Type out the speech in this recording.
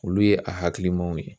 Olu ye a hakilinaw ye.